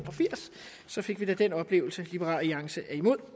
og firs så fik vi da den oplevelse liberal alliance